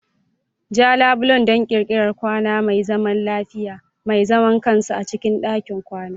Ja labule don ƙirƙirar kwakwa mai zaman lafiya, mai zaman kansa a cikin ɗakin kwana.